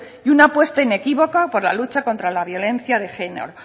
y una apuesta inequívoca por la lucha contra la violencia de género